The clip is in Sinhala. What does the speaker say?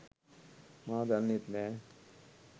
මා දන්නෙත් නැහැ.